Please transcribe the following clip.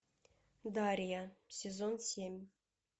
дарья сезон семь